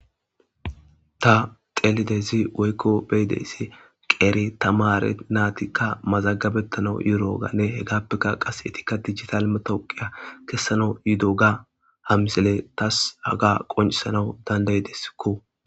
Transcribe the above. ta xelidezi woykko beydessi qeere tamare naatikka mazagabettanau yuro7oganne hegappekka qas etikka dijital matowqiya kessana yudo ga hamisele tas haga qoncisanau dandayideskko